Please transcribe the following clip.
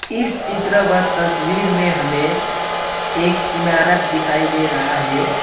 इस चित्रपट तस्वीर में हमें एक इमारत दिखाई दे रहा है।